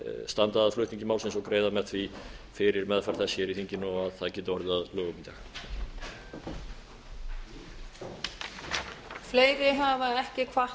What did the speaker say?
standa að flutningi málsins og greiða með því fyrir meðferð þess í þinginu og að það geti orðið að lögum í dag